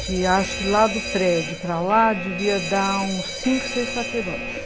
Que acho que lá do prédio para lá devia dar uns cinco, seis quarteirões.